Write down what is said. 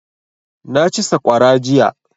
Na ci saƙwara jiya